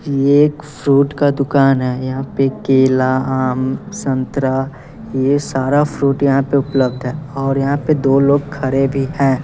ये एक फ्रूट का दुकान है यहां पे केला आम संतरा ये सारा फ्रूट यहां पे उपलब्ध है और यहां पे दो लोग खड़े भी हैं।